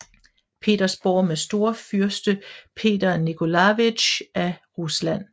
Petersborg med storfyrst Peter Nikolajevitj af Rusland